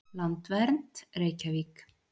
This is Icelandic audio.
Landvernd, Reykjavík.